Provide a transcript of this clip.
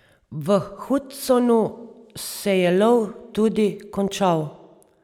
V Hudsonu se je lov tudi končal.